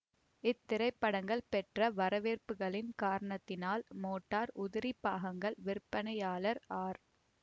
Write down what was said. இத்திரைபடங்கள் பெற்ற வரவேற்புகளின் காரணத்தினால் மோட்டார் உதிரிப் பாகங்கள் விற்பனையாளர் ஆர்